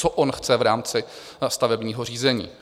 Co on chce v rámci stavebního řízení?